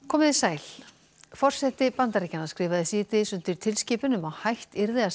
komiði sæl forseti Bandaríkjanna skrifaði síðdegis undir tilskipun um að hætt yrði að